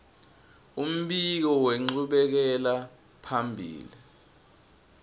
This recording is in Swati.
umbiko wenchubekela phambili